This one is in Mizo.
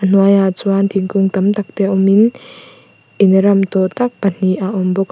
a hnuaiah chuan thingkung tam tak te awmin in ram tawh tak pahnih a awm bawk a.